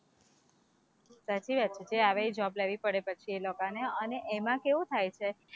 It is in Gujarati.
સાચી વાત છે જે આવે એ job લેવી પડે પછી એ લોકોને અને એમાં કેવું થાય છે,